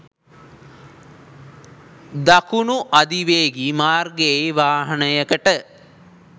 දකුණු අධිවේගී මාර්ගයේ වාහනයකට